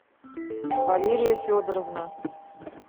валерия федоровна